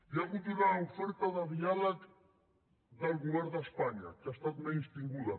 hi ha hagut una oferta de diàleg del govern d’espanya que ha estat menystinguda